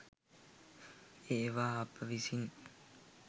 ඒවා අප විසින්